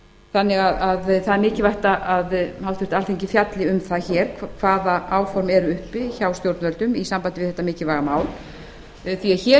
þannig að það er mikilvægt að háttvirt alþingi fjalli um það hér hvaða áform eru uppi hjá stjórnvöldum í sambandi við þetta mikilvæga mál því hér er